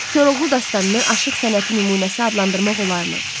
Koroğlu dastanını aşıq sənəti nümunəsi adlandırmaq olarmı?